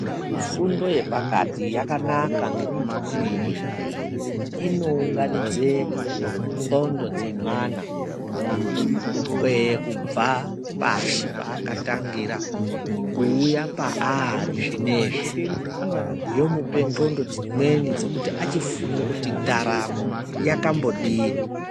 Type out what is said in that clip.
Fundo yepakati yakanaka ngekuti inounganidze ndxondo dzemwana, kukwee kubva pashi paakatangira kuuya paari zvinezvi, Yomupe ndxondo dzimweni dzekuti achifunge kuti ndaramo yakambodini.